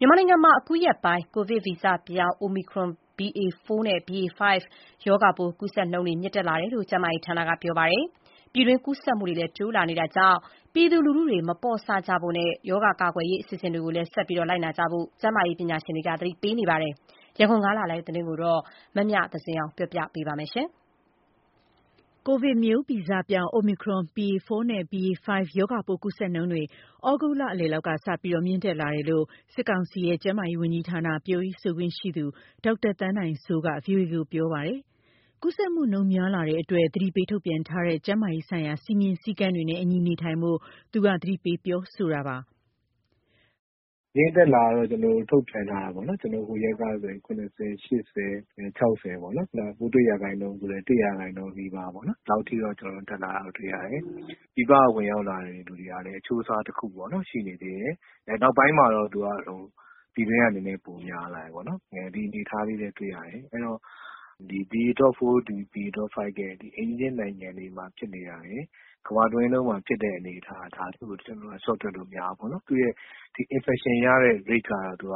မြန်မာနိုင်ငံမှာ အခုရက်ပိုင်း ကိုဗစ်ဗီဇပြောင်း Omicron BA.4 နဲ့ BA.5 ကိုဗစ်ရော ဂါပိုး ကူးစက်နှုန်းတွေ မြင့်တက်လာတယ်လို့ ကျန်းမာရေးဌာက ပြောပါတယ်။ ပြည်တွင်းကူးစက်မှုတွေလည်း တိုးလာနေတာကြောင့် ပြည်သူလူထုတွေ မပေါ့ဆ ဖို့နဲ့ ရောဂါကာကွယ်ရေး အစီအစဉ်တွေကိုလည်း ဆက်လက်လိုက်နာဖို့ ကျန်းမာရေးပညာရှင်တွေ သတိပေးနေပါတယ်။ ရန်ကုန်ကလာတဲ့သတင်းကို မမြသဇင်အောင်က တင်ပြပေးထားပါတယ်။ ကိုဗစ်ဗီဇပြောင်း Omicron BA.4 နဲ့ BA.5 ကိုဗစ်ရောဂါပိုး ကူးစက်နှုန်းတွေ သြဂုတ် လလယ်လောက်ကစပြီး မြင့်တက်လာတယ်လို့ စစ်ကောင်စီရဲ့ ကျန်းမာရေးဝန်ကြီးဌာန ပြောရေးဆိုခွင့်ရှိသူ ဒေါက်တာသန်းနိုင်စိုးက VOA ကို ပြောပါတယ်။ ကူးစက်မှုနှုန်း များလာတဲ့အတွက် သတိပေးထုတ်ပြန်ထားတဲ့ ကျန်းမာရေးဆိုင်ရာ စည်းမျဉ်းစည်းကမ်းတွေနဲ့အညီ နေထိုင်ဖို့ သူက သတိပေးပြောဆိုတာပါ။ “ မြင့်တက်လာတယ်လို့ ထုတ်ပြန်ထားတယ်ပေါ့နော်။ ဟိုရက်ကဆိုရင် ၇၀၊ ၈၀၊ ၆၀ ပေါ့နော်- ပိုးတွေ့တဲ့ရာခိုင်နှုန်းဆိုလည်း ၁ ရာခိုင်နှုန်းနီးပါးပေါ့နော်၊ ဒီလောက် အထိ တက်လာတာတွေ့ရတယ်။ ပြည်ပကဝင်ရောက်လာတဲ့သူကလည်း အချိုးအစားတခုပေါ့နော်- ရှိနေသေးတယ်။ အဲ့နောက်ပိုင်းမှာတော့ သူက ပြည်တွင်းကနည်းနည်းပိုများလာတယ်ပေါ့နော်။ ဒီအနေအထားလေးပဲတွေ့ရတယ်။ အဲ့တော့ ဒီ BA.4 BA.5 ရဲ့ အိမ်နီးချင်းနိုင်ငံတွေမှာ ဖြစ်နေတာတွေ၊ ကမ္ဘာတဝန်းလုံးမှာဖြစ်တဲ့အနေအထား၊ ဒါတခုကို ကျနော်တို့ လျှော့တွက်လို့မရဘူးပေါ့နော်။ သူ့ရဲ့ ဒီ infection ရဲ့တဲ့ risk က သူက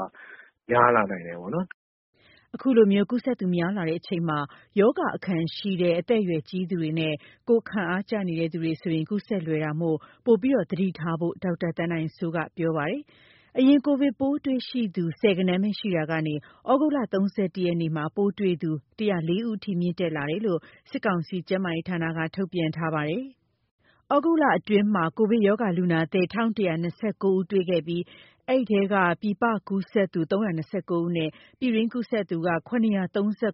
များလာနိုင်တယ်ပေါ့နော်။” အခုလိုမျိုး ကူးစက်သူများလာနေချိန်မှာ ရောဂါအခံရှိတဲ့ အသက်အရွယ်ကြီးသူတွေနဲ့ ကိုယ်ခံအားကျနေတဲ့ သူတွေဆိုရင် ကူးစက်လွယ်တာမို့ ပိုမိုသတိထားဖို့ ဒေါက်တာသန်းနိုင်စိုးက ဆိုပါတယ်။ အရင်က ကိုဗစ် ပိုးတွေ့ရှိသူ ဆယ်ဂဏန်းပဲရှိရာကနေ သြဂုတ် ၃၁ ရက်နေ့မှာဆိုရင် ပိုးတွေ့ရှိသူ ၁၀၄ ဦးအထိ မြင့်တက်လာတာလို့ စစ်ကောင်စီရဲ့ ကျန်းမာရေးဌာနက ထုတ်ပြန်ထားပါတယ်။ သြဂုတ်လအတွင်းမှာ ကိုဗစ်ရောဂါ လူနာသစ် ၁,၁၂၉ ဦးတွေ့ ရှိခဲ့ပြီး အဲဒီထဲက ပြည်ပ ကူးစက်သူ ၃၂၉ ဦးနဲ့ ပြည်တွင်းကူးစက်သူက ၇၃၇ ဦးအထိ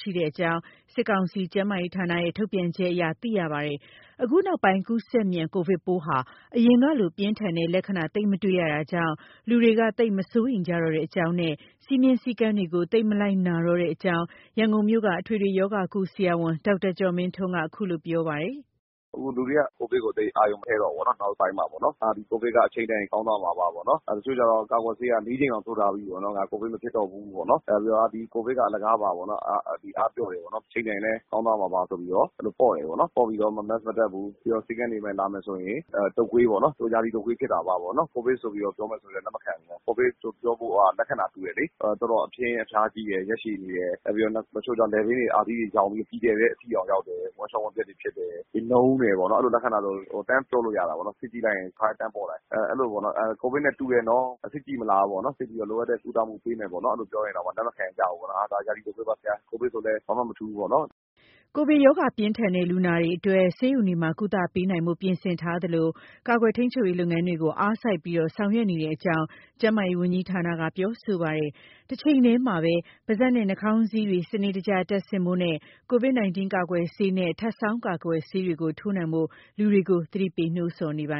ရှိနေကြောင်း စစ်ကောင်စီရဲ့ ကျန်းမာရေးဌာနရဲ့ ထုတ်ပြန်ချက်အရ သိရပါတယ်။ အခု နောက်ပိုင်း ကူးစက်မြန် ကိုဗစ်ပိုးဟာ အရင်ကလို ပြင်းထန်တဲ့လက္ခဏာ သိပ်မတွေ့ရတာကြောင့် လူတွေက သိပ်မစိုးရိမ်ကြတော့တဲ့အကြောင်းနဲ့ စည်းမျဉ်းစည်းကမ်းတွေကို သိပ်မလိုက်နာကြတော့တဲ့အကြောင်း ရန်ကုန်မြို့က အထွေထွေရောဂါကု ဆရာဝန် ဒေါက်တာကျော်မင်းထွန်း အခုလို ပြောပါတယ်။ “အခုလူတွေက ကိုဗစ်ကိုသိပ်အာရုံမထည့်တော့ဘူးပေါ့နော်။ နောက်ပိုင်းမှာပေါ့နော်။ ဟာ…ကိုဗစ်က အချိန်တန်ရင် ကောင်းသွားမှာပါပေါ့နော်၊ တချို့ကျတော့ ကာကွယ်ဆေးက ၄ ကြိမ်တောင် ထိုးထားပြီးပေ့ါနော်၊ ငါ ကိုဗစ်မဖြစ်တော့ဘူးပေ့ါနော်။ နောက်ပြီးတော့ ကိုဗစ်က အလကာပါပေ့ါနော်၊ အားပျော့တယ်ပေါ့နော်၊ အချိန်တန်ရင်လည်း ကောင်းသွားမှာပါဆိုပြီးတော့ အဲ့လိုပေါ့တယ်ပေါ့နော်။ ပေါ့ပြီးတော့ Mask မတပ်ဘူး။ ပြီးတော့ ဆေးခန်းတွေ လာမယ်ရင် အာ…တုပ်ကွေးပေါ့နော်၊ သူရာသီတုပ်ကွေးဖြစ်တာပါပေါ့နော်။ ကိုဗစ်ဆိုပြီးတော့ ပြောမယ်ဆိုလည်း လက်မခံဘူး။ ကိုဗစ်ဆိုပြောဖို့က လက္ခဏာတူတယ်လေ။ တော်တော်အပြင်းအဖျားကြီးတယ်၊ ရက်ရှည်တယ်။ နောက်ပြီးတော့ တချို့ကျ လည်ပင်းတွေ၊အာသီးတွေယောင်ပြီး အကြီးအကျယ်ပဲ ဝမ်းလျော်ဝမ်းပျက်တွေဖြစ်တယ်။ နုန်းတယ်ပေါ့နော်။ အဲ့လိုလက္ခဏာဆို တန်းပြောလို့ရတာပေါ့နော်။ စစ်ကြည့်လိုက်ရင် တခါတည်း တန်းပေါ်လာ၊ အဲ့လိုပေါ့နော် ကိုဗစ်နဲ့ တူတယ်နော်၊ စစ်ကြည့်မလားပေါ့နော်။ စစ်ကြည့်ပြီး လိုအပ်တဲ့ကုသမှုပေးမယ်ပေါ့နော် အဲ့လိုပြောရင်တောင်မှ လက်မခံကြဘူးပေါ့နော်။ ဟာ… ဒါ ရာသီတုပ်ကွေးပါ ဆရာ၊ ကိုဗစ်ဆိုလည်း ဘာမှမထူးပေါ့နော်။” ကိုဗစ်ရောဂါ ပြင်းထန်တဲ့ လူနာတွေအတွက် ဆေးရုံတွေမှာ ကုသပေးနိုင်ဖို့ ပြင်ဆင်ထားသလို ကာကွယ်ထိန်းချုပ်ရေးလုပ်ငန်းတွေ အားစိုက်ပြီး ဆောင်ရွက်နေကြောင်း ကျန်းမာရေးဝန်ကြီးဌာနက ပြောဆိုပါတယ်။ တချိန်တည်းမှာ ပါးစပ်နဲ့ နှာခေါင်းစည်းတွေ စနစ်တကျ တပ်ဆင့်ဖို့နဲ့ ကိုဗစ် 19 ကာကွယ်ဆေးနဲ့ ထပ်ဆောင်းကာကွယ်ဆေးတွေ ထိုးနှံ့ဖို့ လူတွေကို သတိပေးနိုးဆော်နေပါ